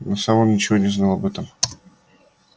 но сам он ничего не знал об этом